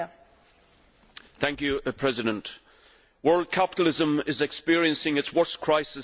Madam President, world capitalism is experiencing its worst crisis since the Great Depression.